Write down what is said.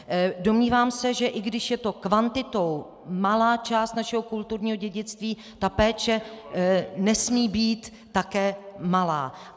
Domnívám se, že i když je to kvantitou malá část našeho kulturního dědictví, ta péče nesmí být také malá.